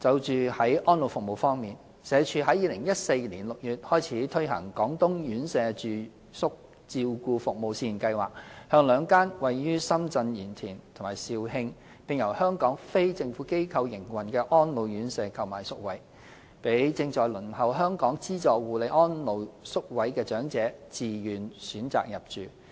在安老服務方面，社署自2014年6月開始推行"廣東院舍住宿照顧服務試驗計劃"，向兩間位於深圳鹽田和肇慶，並由香港非政府機構營運的安老院舍購買宿位，讓正在輪候香港資助護理安老宿位的長者自願選擇入住。